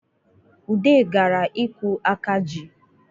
Ude gara ikwu aka ji